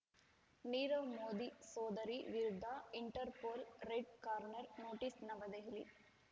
ನೀರವ್‌ ಮೋದಿ ಸೋದರಿ ವಿರುದ್ಧ Interpol red corner notice ನವದೆಹಲಿ